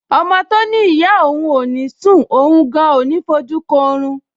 Ọmọ tó ní ìyá òun ò ní sùn, òun gan-an ò ní fojú kan orun